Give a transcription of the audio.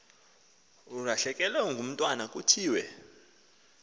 ulahlekelwe ngumntwana kuthiwe